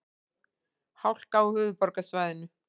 Hálka á höfuðborgarsvæðinu